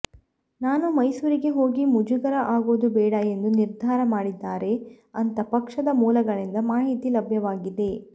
ನಾನು ಮೈಸೂರಿಗೆ ಹೋಗಿ ಮುಜುಗರ ಆಗೋದು ಬೇಡ ಎಂದು ನಿರ್ಧಾರ ಮಾಡಿದ್ದಾರೆ ಅಂತ ಪಕ್ಷದ ಮೂಲಗಳಿಂದ ಮಾಹಿತಿ ಲಭ್ಯವಾಗಿದೆ